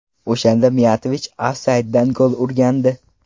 O‘shanda Miyatovich ofsayddan gol urgandi.